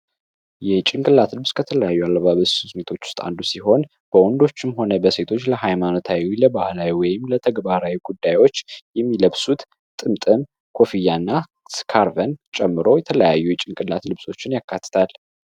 የጭንቅላት ልብስ ከተለያዩ አለባበ ስልቶች ውስጥ አንዱ ሲሆን በወንዶችም ሆነ በሴቶች ለሃይማኖታዩ ለባህላዊ ወይም ለተግባራዊ ጉዳዮች የሚለብሱት ጥምጥም ኮፊያ እና ስካርቨን ጨምሮ የተለያዩ የጭንቅላት ልብሶችን ያካትታል።